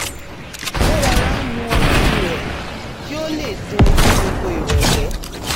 ó rọra ń mu ọtí rè̩ kí ó lè tó o fún gbogbo ìrọ̀lẹ́